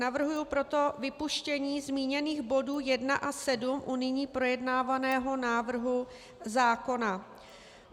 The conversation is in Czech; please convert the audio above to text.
Navrhuji proto vypuštění zmíněných bodů 1 a 7 u nyní projednávaného návrhu zákona.